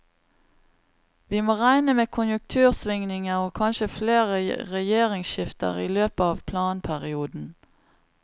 Vi må regne med konjunktursvingninger og kanskje flere regjeringsskifter i løpet av planperioden.